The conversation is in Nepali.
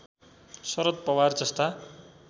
शरद पवार जस्ता